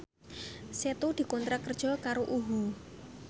Setu dikontrak kerja karo UHU